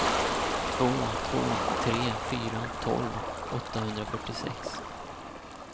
två två tre fyra tolv åttahundrafyrtiosex